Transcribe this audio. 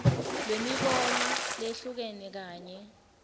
lwemibono leyehlukene kanye